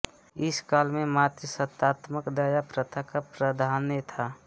इस काल में मातृसत्तात्मक दाय प्रथा का प्राधान्य था